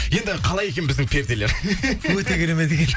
енді қалай екен біздің перделер өте керемет екен